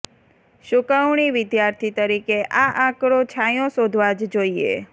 સૂકવણી વિદ્યાર્થી તરીકે આ આંકડો છાંયો શોધવા જ જોઈએ